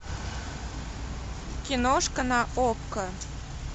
киношка на окко